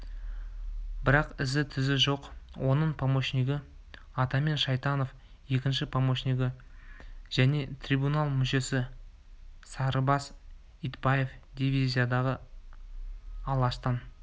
бірақ ізі-түзі жоқ оның помощнигі атаман шайтанов екінші помощнигі және трибунал мүшесі сарыбас итбаев дивизияда алаштан